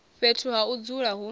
fhethu ha u dzula hu